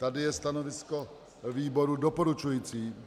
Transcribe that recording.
Tady je stanovisko výboru doporučující.